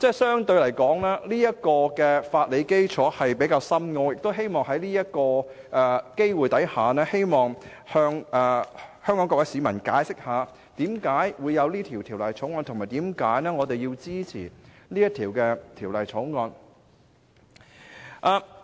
相對來說，《條例草案》的法理基礎比較深奧，我亦希望藉此機會向香港市民解釋制定《條例草案》的原因，以及我們為何要支持《條例草案》。